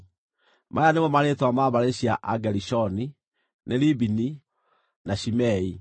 Maya nĩmo marĩĩtwa ma mbarĩ cia Agerishoni: Nĩ Libini na Shimei.